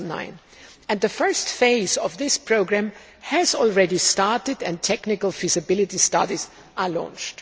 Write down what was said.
2009. The first phase of this programme has already started and technical feasibility studies are launched.